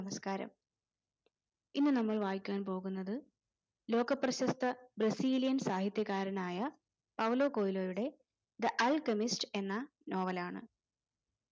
നമസ്ക്കാരം ഇന്ന് നമ്മൾ വായിക്കാൻ പോകുന്നത് ലോകപ്രശസ്ത brazilian സാഹിത്യകാരനായ പൗലോ കൗലോയുടെ the alchemist എന്ന novel ആണ്